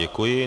Děkuji.